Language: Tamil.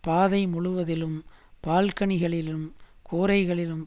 பாதை முழுவதிலும் பால்கனிகளிலும் கூரைகளிலும்